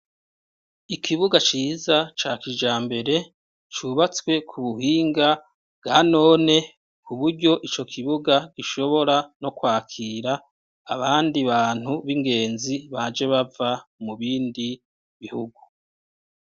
Ikibuga ciza ca kijambere cubatswe ku buhinga bwa none ku buryo ico kibuga gishobora no kwakira abandi bantu b'ingenzi baje bava mu bindi bihugu.